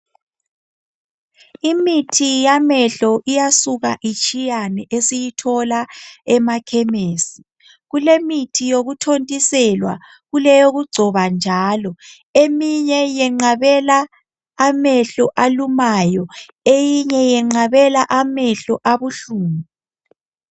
Imithi yamehlo iyasuka itshiyane esiyithola emakhemisi, kulemithi yokuthontiselwa kuleyo kugcoba njalo. Eminye yenqabela amehlo alumayo eyinye yenqabela amehlo abuhlungu.